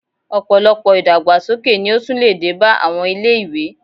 Ọ̀pọ̀lọpọ̀ ìdàgbàsókè ni ó tún lè dé bá àwọn ilé-ìwé